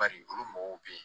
Bari olu mɔgɔw bɛ yen